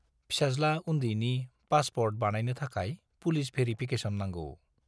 फिसाज्ला उन्दैनि पासपर्ट बानायनो थाखाय पुलिस भेरिफिकेसन नांगौ।